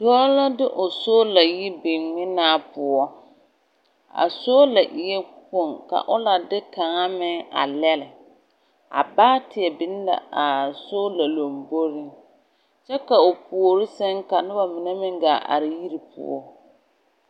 Dɔɔ la de o soola yi biŋ ŋmenaa poɔ. A soola eɛ kpoŋ ka o la de kaŋa meŋ a lɛle. A baateɛ niŋ la a soola lamboriŋ, kyɛ ka o puori sɛŋ ka noba mine meŋ gaa are yiri poɔ.